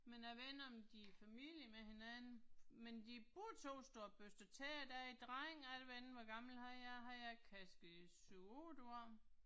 Men jeg ved ikke om de er i familie med hinanden, men de begge 2 står og børster tænder der er en dreng og jeg ved ikke hvor gammel han er han er kanske 7 8 år